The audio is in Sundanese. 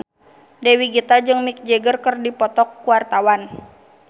Dewi Gita jeung Mick Jagger keur dipoto ku wartawan